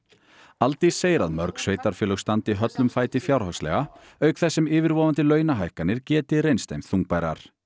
Aldís segir að mörg sveitarfélög standi höllum fæti fjárhagslega auk þess sem yfirvofandi launahækkanir geti reynst þeim þungbærar